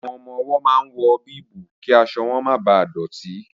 Àwọn ọmọ-ọwọ́ máa ń wọ bíìbù kí aṣọ wọn máa bà dọ̀tí